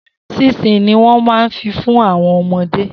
Sinsini ni wọ́n ma fi fún àwọn ọmọdé